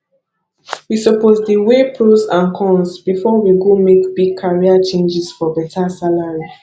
we suppose dey weigh pros and cons before we go make big career changes for beta salary